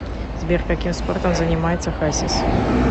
сбер каким спортом занимается хасис